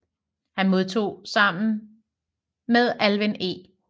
Han modtog sammen med Alvin E